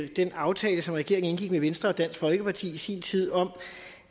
den aftale som regeringen indgik med venstre og dansk folkeparti i sin tid om